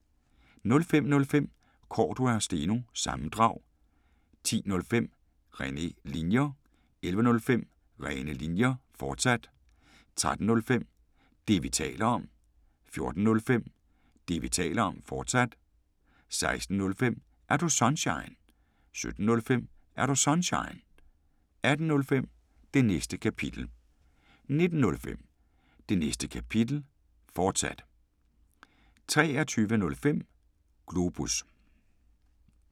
05:05: Cordua & Steno – sammendrag 10:05: Rene Linjer 11:05: Rene Linjer, fortsat 13:05: Det, vi taler om 14:05: Det, vi taler om, fortsat 16:05: Er Du Sunshine? 17:05: Er Du Sunshine? 18:05: Det Næste Kapitel 19:05: Det Næste Kapitel, fortsat 23:05: Globus